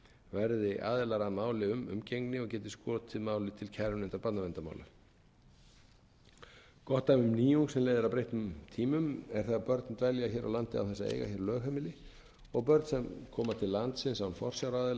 verði aðilar að máli um umgengni og geti skotið máli til kærunefndar barnaverndarmála gott dæmi um nýjung sem leiðir að breyttum tímum er það að börn dvelja hér á landi án þess að eiga hér lögheimili og börn sem koma til landsins án forsjáraðila til